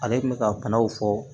Ale kun bɛ ka kumaw fɔ